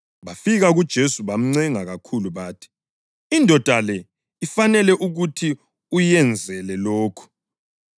Bafika kuJesu bamncenga kakhulu bathi, “Indoda le ifanele ukuthi uyenzele lokhu,